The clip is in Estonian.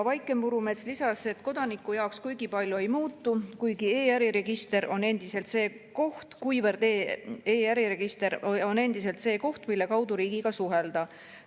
Vaike Murumets lisas, et kodaniku jaoks kuigi palju ei muutu, kuivõrd e‑äriregister on endiselt see koht, mille kaudu riigiga suhelda.